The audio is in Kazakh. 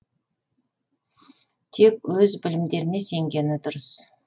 тек өз білімдеріне сенгені дұрыс